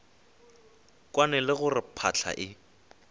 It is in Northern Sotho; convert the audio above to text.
kwane le gore phahla e